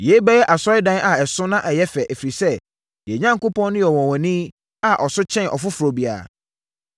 “Yei bɛyɛ Asɔredan a ɛso na ɛyɛ fɛ, ɛfiri sɛ, yɛn Onyankopɔn no yɛ ɔnwanwani a ɔso kyɛn ɔfoforɔ biara.